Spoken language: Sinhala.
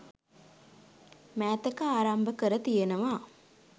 මෑතක ආරම්භ කර තියෙනවා